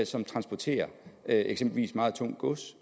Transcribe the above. som transporterer eksempelvis meget tungt gods